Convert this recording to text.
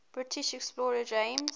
british explorer james